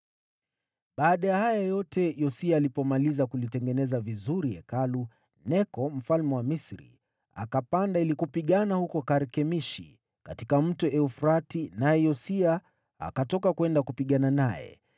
Baada ya haya yote, Yosia alipomaliza kulitengeneza vizuri Hekalu, Neko mfalme wa Misri, akapanda ili kupigana huko Karkemishi katika Mto Frati, naye Yosia akatoka kwenda kupigana naye.